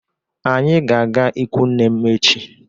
Anyị ga-aga ikwu nne m echi.